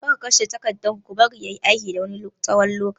Kar ku kashe taraktan ku bari ya yi aiki na tsawon wani lokaci!